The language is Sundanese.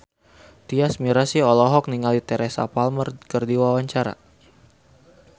Tyas Mirasih olohok ningali Teresa Palmer keur diwawancara